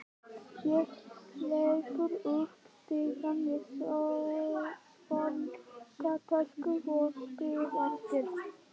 Ég hleyp upp stigann með skólatöskuna og spyr eftir